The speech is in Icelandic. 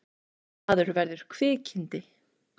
Maður verður kvikindi.